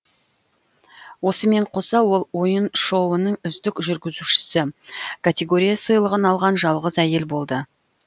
осымен қоса ол ойын шоуының үздік жүргізушісі категория сыйлығын алған жалғыз әйел болды